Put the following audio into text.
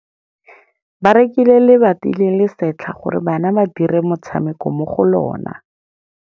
Ba rekile lebati le le setlha gore bana ba dire motshameko mo go lona.